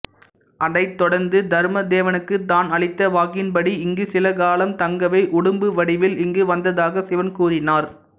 அதைத்தொடர்ந்து தர்மதேவனுக்கு தான் அளித்த வாக்கின்படி இங்கு சிலகாலம் தங்கவே உடும்புவடிவில் இங்கு வந்ததாக சிவன் கூறினார்